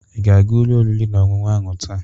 Ị ga-aga ụlọ oriri na ọṅụṅụ ahụ taa?